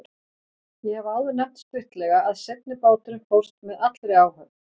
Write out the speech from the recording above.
Ég hef áður nefnt stuttlega að seinni báturinn fórst með allri áhöfn.